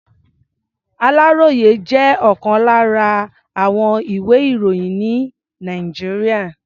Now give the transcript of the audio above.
Àláròyé jẹ́ ọ̀kan lára àwọn ìwé-ìròyìn ní Nàìjíríà.